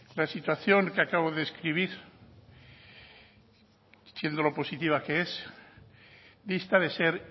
la situación que acabo de describir siendo lo positiva que es dista de ser